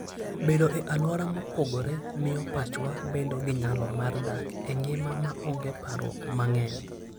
Bedo e alwora mopogore miyo pachwa bedo gi nyalo mar dak e ngima maonge parruok mang'eny.